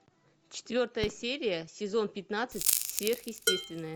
четвертая серия сезон пятнадцать сверхъестественное